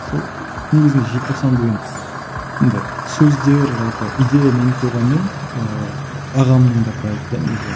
сол негізінде желтоқсан деген енді сөздер жалпы идея менікі болғанымен ыыы ағамның да проекті де негізі ол